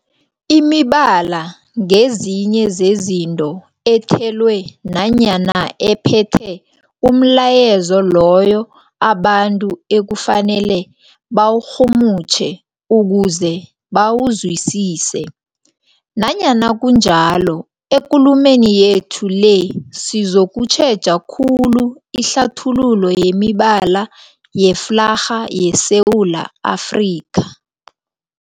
Imibala ngezinye zezinto ethelwe nanyana ephethe umlayezo loyo abantu ekufanele bawurhumutjhe ukuze bawuzwisise. Nanyana kunjalo, ekulumeni yethu le sizokutjheja khulu ihlathululo yemibala yeflarha yeSewula Afrika.